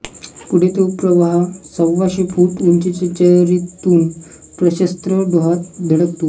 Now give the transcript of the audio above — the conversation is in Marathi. पुढे तो प्रवाह सव्वाशे फूट उंचीच्या चरीतून प्रशस्त डोहात धडकतो